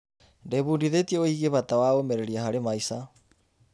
Ndĩbundithĩtie wĩgiĩ bata wa ũmĩrĩria harĩ maica.